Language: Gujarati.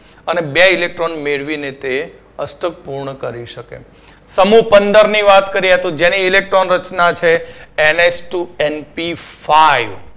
અને બે electron મેળવીને તે અષ્ટક પૂર્ણ કરી શકે. સમુહ પંદરની વાત કરીએ તો જેની Electron રચના છે NH two NP five